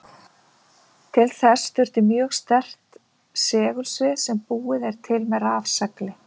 Til þess þurfti mjög sterkt segulsvið sem búið er til með rafsegli.